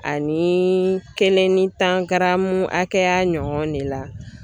Ani kelen ni tan garamu hakɛya ɲɔgɔn ne la.